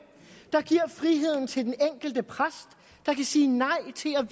der giver friheden til den enkelte præst der kan sige nej til at